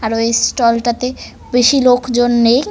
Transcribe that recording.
আর এই ষ্টল -টাতে বেশি লোকজন নেই ।